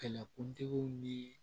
Kɛlɛkuntigiw ni